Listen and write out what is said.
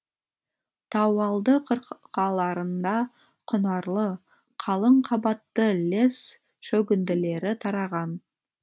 тауалды қырқаларында құнарлы қалың қабатты лесс шөгінділері тараған